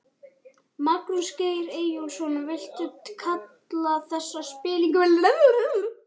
Magnús Geir Eyjólfsson: Viltu kalla þetta spillingu?